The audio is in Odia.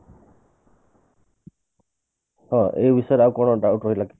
ହଁ ଏଇ ବିଷୟରେ ଆଉ କଣ doubt ରହିଲା କି